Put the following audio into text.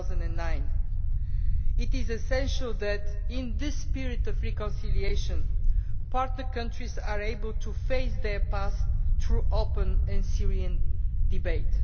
2009. It is essential that in this period of reconciliation partner countries are able to face their past through open and sincere debate.